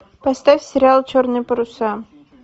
поставь сериал черные паруса